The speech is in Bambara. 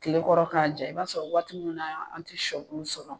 Kile kɔrɔ k'a ja i b'a sɔrɔ waati min na an tɛ shɔbulu sɔrɔ.